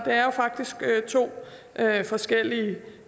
er jo faktisk to forskellige